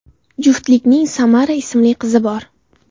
Juftlikning Samara ismli qizi bor.